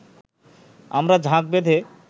আমরা ঝাঁক বেঁধে